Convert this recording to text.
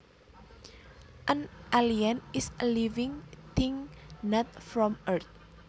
An alien is a living thing not from earth